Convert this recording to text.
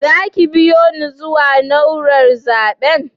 Za ki biyo ni zuwa naúrar zaben?